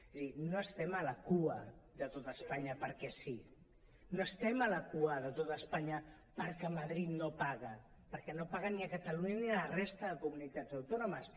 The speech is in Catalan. és a dir no estem a la cua de tot espanya perquè sí no estem a la cua de tot espanya perquè madrid no paga perquè no paga ni a catalunya ni a la resta de comunitats autònomes